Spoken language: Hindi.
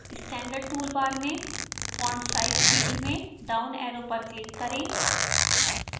standard toolbar में font size field में downarrow पर click करें